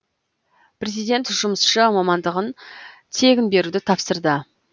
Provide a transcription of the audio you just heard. президент жұмысшы мамандығын тегін беруді тапсырды